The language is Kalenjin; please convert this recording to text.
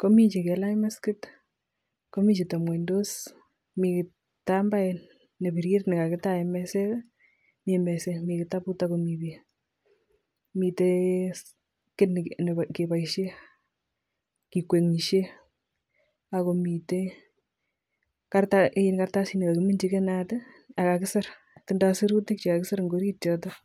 komii chekailach maskit komii chetebng'wondos, mii kitambaet nebirir nekakitaen meset, mii meset, mii kitabut ak komii beek, miten kiit nekeboishen kikwengishe ak komiten kartasit nekokiminchi inaat ak kakisir, tindo sirutik chekakisir eng' orit yotok.